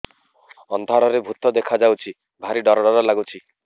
ଅନ୍ଧାରରେ ଭୂତ ଦେଖା ଯାଉଛି ଭାରି ଡର ଡର ଲଗୁଛି